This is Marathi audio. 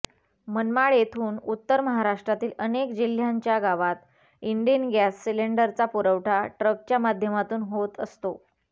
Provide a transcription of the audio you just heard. मनमाड येथून उत्तर महाराष्ट्रातील अनेक जिल्ह्यांच्या गावात इंण्डेन गॅस सिलेंडरचा पुरवठा ट्रकच्या माध्यमातून होत असतो